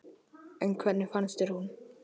En hvernig fannst þér hún?